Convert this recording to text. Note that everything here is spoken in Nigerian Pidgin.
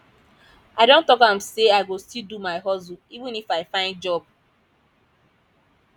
i don talk am sey i go still do my hustle even if i find job